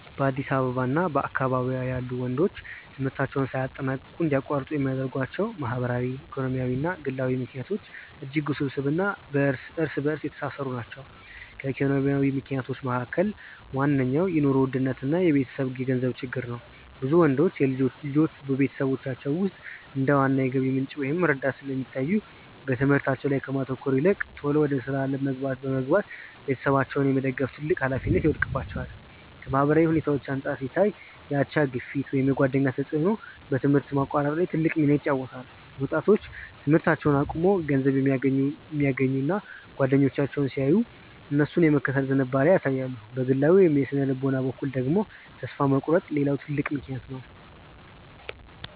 በአዲስ አበባ እና በአካባቢዋ ያሉ ወንዶች ትምህርታቸውን ሳያጠናቅቁ እንዲያቋርጡ የሚያደርጓቸው ማህበራዊ፣ ኢኮኖሚያዊ እና ግላዊ ምክንያቶች እጅግ ውስብስብ እና እርስ በእርስ የተሳሰሩ ናቸው። ከኢኮኖሚ ምክንያቶች መካከል ዋነኛው የኑሮ ውድነት እና የቤተሰብ የገንዘብ ችግር ነው። ብዙ ወንዶች ልጆች በቤተሰቦቻቸው ውስጥ እንደ ዋና የገቢ ምንጭ ወይም ረዳት ስለሚታዩ፣ በትምህርታቸው ላይ ከማተኮር ይልቅ ቶሎ ወደ ሥራ ዓለም በመግባት ቤተሰባቸውን የመደገፍ ትልቅ ኃላፊነት ይወድቅባቸዋል። ከማህበራዊ ሁኔታዎች አንጻር ሲታይ፣ የአቻ ግፊት ወይም የጓደኛ ተጽዕኖ በትምህርት ማቋረጥ ላይ ትልቅ ሚና ይጫወታል። ወጣቶች ትምህርታቸውን አቁመው ገንዘብ የሚያገኙ ጓደኞቻቸውን ሲያዩ፣ እነሱን የመከተል ዝንባሌ ያሳያሉ። በግላዊ ወይም በሥነ-ልቦና በኩል ደግሞ፣ ተስፋ መቁረጥ ሌላው ትልቅ ምክንያት ነው።